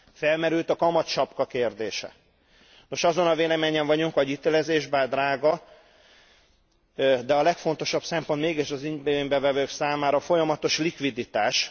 Felmerült a kamatsapka kérdése, és azon a véleményen vagyunk, hogy a hitelezés bár drága, a legfontosabb szempont mégis az igénybevevők számára a folyamatos likviditás.